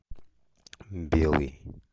белый